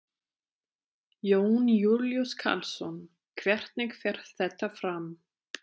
Jón Júlíus Karlsson: Hvernig fer þetta fram?